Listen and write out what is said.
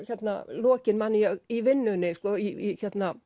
lokin man ég í vinnunni í